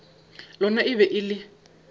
lona e be e le